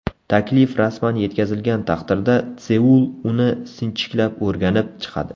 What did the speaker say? Taklif rasman yetkazilgan taqdirda Seul uni sinchiklab o‘rganib chiqadi.